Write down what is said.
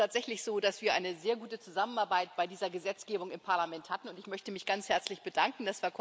Es ist tatsächlich so, dass wir eine sehr gute Zusammenarbeit bei dieser Gesetzgebung im Parlament hatten, und ich möchte mich ganz herzlich bedanken.